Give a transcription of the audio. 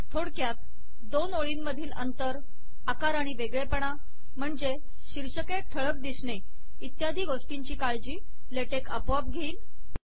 थोडक्यात दोन ओळींमधील अंतर आकार आणि वेगळेपणा म्हणजे शीर्षके ठळक दिसणे इत्यादि गोष्टीची काळजी ले टेक आपोआप घेईल